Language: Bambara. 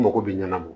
N mago bɛ ɲɛnana